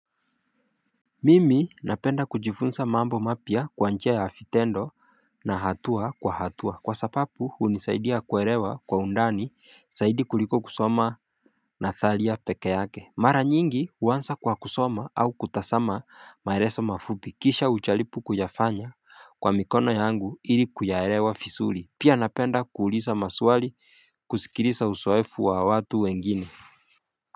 Mimi napenda kujifunsa mambo mapya kwa njia ya fitendo na hatua kwa hatua Kwa sapapu hunisaidia kuerewa kwa undani saidi kuliko kusoma nathalia peke yake Mara nyingi uwansa kwa kusoma au kutasama maereso mafupi kisha uchalipu kuyafanya kwa mikono yangu ili kuyaerewa fisuri Pia napenda kuulisa maswali kusikilisa usoefu wa watu wengine.